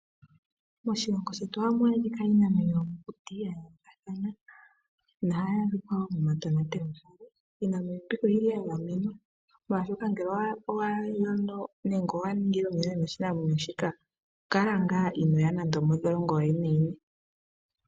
Moshilongo shetu ohamu adhika iinamwenyo yomokuti ya yoolokathana nohayi adhika momatonatelwahala. Iinamwenyo mbika oya gamenwa, molwashoka ngele owa ningile iinamwenyo mbika omuyonena, ito kala inoo ya mondholongo.